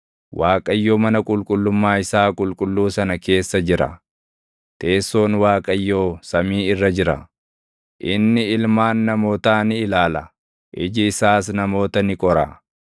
Waaqayyo mana qulqullummaa isaa qulqulluu sana keessa jira; teessoon Waaqayyoo samii irra jira. Inni ilmaan namootaa ni ilaala; iji isaas namoota ni qora.